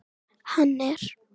Hann er.